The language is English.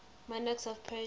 monarchs of persia